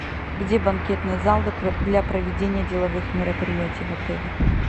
где банкетный зал для проведения деловых мероприятий в отеле